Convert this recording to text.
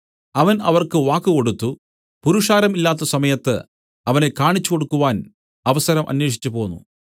അവൻ അവർക്ക് വാക്ക് കൊടുത്തു പുരുഷാരം ഇല്ലാത്ത സമയത്ത് അവനെ കാണിച്ചുകൊടുക്കുവാൻ അവസരം അന്വേഷിച്ചുപോന്നു